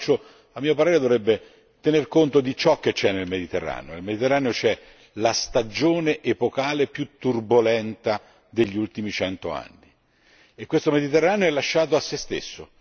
L'approccio a mio parere dovrebbe tener conto di ciò che c'è nel Mediterraneo nel Mediterraneo c'è la stagione epocale più turbolenta degli ultimi 100 anni e questo Mediterraneo è lasciato a se stesso.